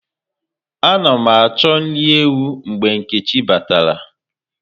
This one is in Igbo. Ana mụ achọ nri ewu mgbe Nkechi bàtàrà